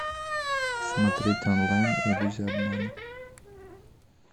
смотреть онлайн иллюзия обмана